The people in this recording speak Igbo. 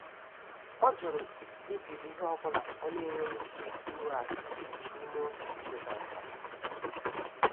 Ọ jụrụ ibiri ihe ọ bụla ọ na-enweghị ike ịweghachi n'ime oge ekwekọrịtara.